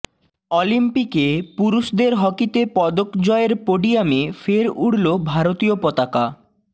অলিম্পিকে পুরুষদের হকিতে পদক জয়ের পোডিয়ামে ফের উড়ল ভারতীয় পতাকা